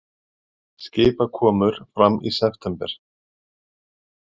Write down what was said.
Skipakomur fram í september